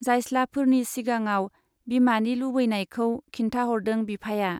जायस्लाफोरनि सिगाङाव बिमानि लुबैनायखौ खिन्थाहरदों बिफाया।